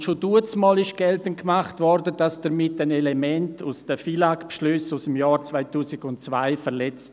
Und schon damals wurde geltend gemacht, es werde damit ein Element aus den FILAG-Beschlüssen aus dem Jahr 2002 verletzt.